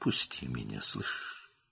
"Məni burax, eşidirsən?"